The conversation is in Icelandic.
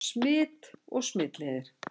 Smit og smitleiðir